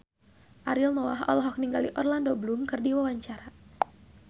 Ariel Noah olohok ningali Orlando Bloom keur diwawancara